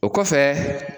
O kɔfɛ